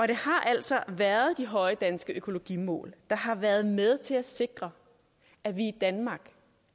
det har altså været de høje danske økologimål der har været med til at sikre at vi i danmark